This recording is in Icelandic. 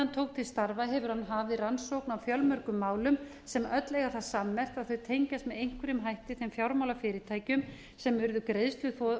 tók til starfa hefur hann hafið rannsókn á fjölmörgum málum sem öll eiga það sammerkt að þau tengjast með einhverjum hætti þeim fjármálafyrirtækjum sem urðu greiðsluþrota